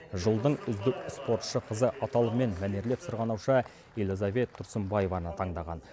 жылдың үздік спортшы қызы аталымымен мәнерлеп сырғанаушы элизабет тұрсынбаеваны таңдаған